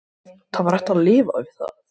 Það var hægt að lifa við það.